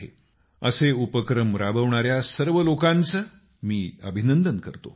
मी असे उपक्रम राबवणाऱ्या सर्व लोकांचं अभिनंदन करतो